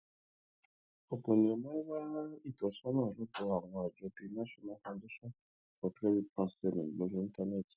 òpò èèyàn máa ń wá ìtósónà lọ sódò àwọn àjọ bíi national foundation for credit counseling lórí íńtánéètì